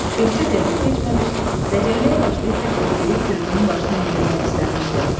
Bircə dəqiqə keçməmiş dəcəlliyə başlayıb bir kötüyü Fridunun başına endirmək istəmişdi.